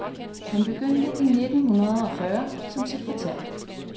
Han begyndte i nittenhundredeogfyrre som sekretær.